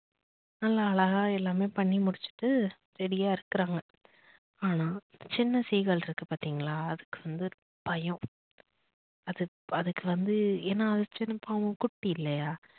நல்ல அழகா எல்லாமே பண்ணி முடிச்சுட்டு ready யா இருக்காங்க ஆனா சின்ன seegal இருக்கு பாத்திங்களா அதுக்கு வந்து பயம் அது அதுக்கு வந்து என்னா சின்ன பாவம் குட்டி இல்லையா